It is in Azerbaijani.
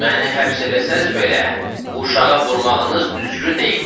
"Məni həbs eləsəz belə, uşağa vurmağınız düzgün deyil."